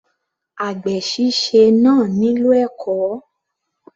Àgbè síse náà nílò ẹ̀kọ́.